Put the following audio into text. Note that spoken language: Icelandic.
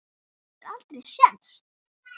Þú áttir aldrei séns